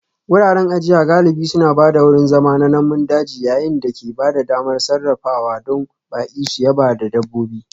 Wuraren ajiya galibi suna ba da wurin zama na namun daji yayin da ke ba da damar sarrafawa don baƙi su yaba da dabbobi